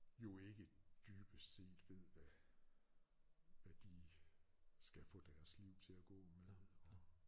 Jo ikke dybest set ved hvad hvad de skal få deres liv til at gå med og